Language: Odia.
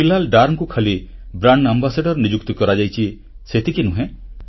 ବିଲାଲ ଡରଙ୍କୁ ଖାଲି ବ୍ରାଣ୍ଡ ଆମ୍ବାସାଡର ନିଯୁକ୍ତ କରାଯାଇଛି ସେତିକି ନୁହେଁ